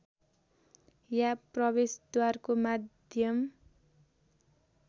या प्रवेशद्वारको माध्यम